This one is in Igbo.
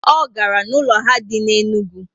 O gara na ụlọ ha dị na Enugwu